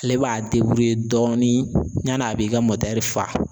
Ale b'a dɔɔnin ɲani a b'i ka fa.